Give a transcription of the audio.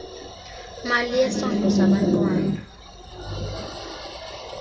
mali yesondlo sabantwana